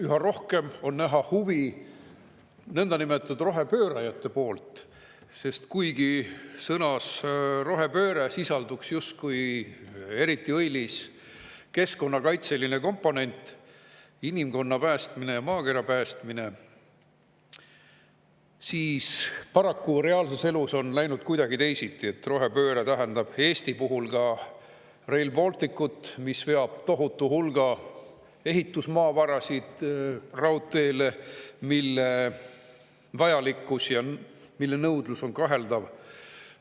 Üha rohkem on näha huvi nõndanimetatud rohepöörajate poolt, sest kuigi sõnas "rohepööre" justkui sisalduks eriti õilis keskkonnakaitseline komponent, inimkonna päästmine ja maakera päästmine, siis paraku on reaalses elus läinud kuidagi teisiti: rohepööre tähendab Eesti puhul ka Rail Balticut, mis veab tohutu hulga ehitusmaavarasid raudteele, mille vajalikkus ja nõudlus on kaheldav.